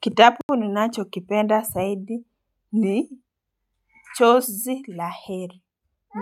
Kitapu ninacho kipenda saidi ni chozi la heri